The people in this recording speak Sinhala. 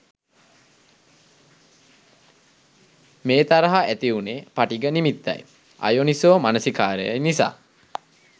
මේ තරහ ඇතිවුණේ පටිඝ නිමිත්තයි අයෝනිසෝ මනසිකාරයයි නිසා